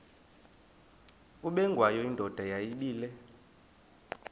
ubengwayo indoda yayibile